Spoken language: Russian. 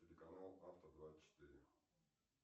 телеканал авто двадцать четыре